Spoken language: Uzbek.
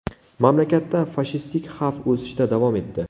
Mamlakatda fashistik xavf o‘sishda davom etdi.